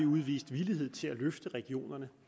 udvist villighed til at løfte regionerne